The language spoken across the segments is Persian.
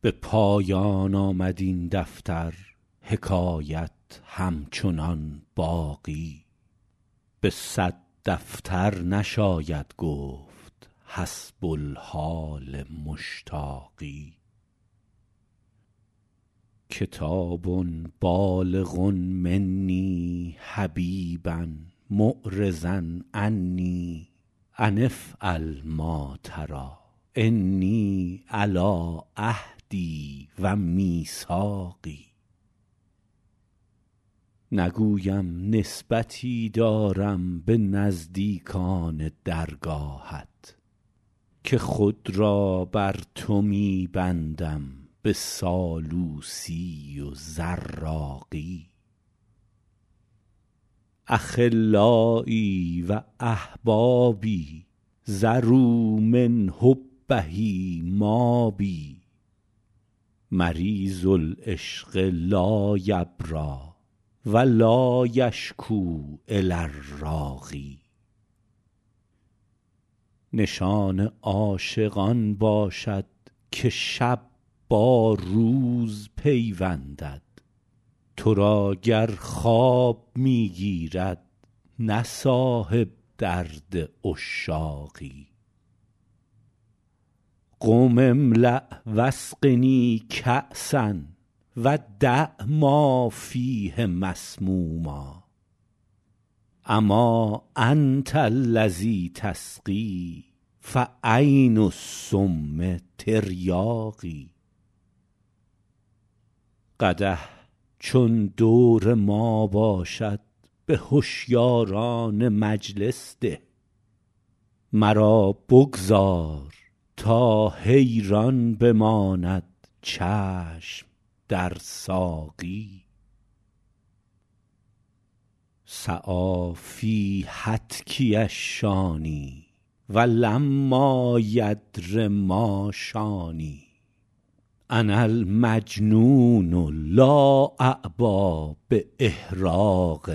به پایان آمد این دفتر حکایت همچنان باقی به صد دفتر نشاید گفت حسب الحال مشتاقی کتاب بالغ منی حبیبا معرضا عنی أن افعل ما تری إني علی عهدی و میثاقی نگویم نسبتی دارم به نزدیکان درگاهت که خود را بر تو می بندم به سالوسی و زراقی أخلایی و أحبابی ذروا من حبه مابی مریض العشق لا یبری و لا یشکو إلی الراقی نشان عاشق آن باشد که شب با روز پیوندد تو را گر خواب می گیرد نه صاحب درد عشاقی قم املأ و اسقنی کأسا و دع ما فیه مسموما أما أنت الذی تسقی فعین السم تریاقی قدح چون دور ما باشد به هشیاران مجلس ده مرا بگذار تا حیران بماند چشم در ساقی سعی فی هتکی الشانی و لما یدر ما شانی أنا المجنون لا أعبا بإحراق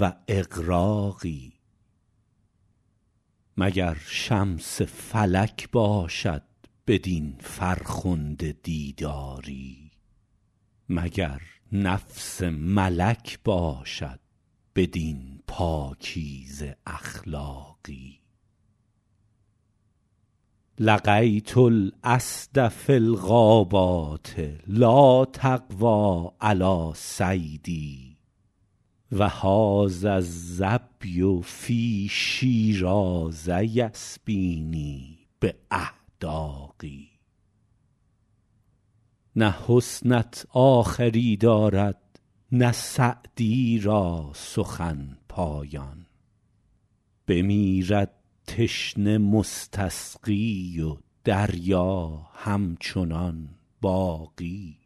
و إغراق مگر شمس فلک باشد بدین فرخنده دیداری مگر نفس ملک باشد بدین پاکیزه اخلاقی لقیت الأسد فی الغابات لا تقوی علی صیدی و هذا الظبی فی شیراز یسبینی بأحداق نه حسنت آخری دارد نه سعدی را سخن پایان بمیرد تشنه مستسقی و دریا همچنان باقی